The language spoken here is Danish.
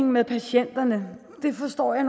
med patienterne det forstår jeg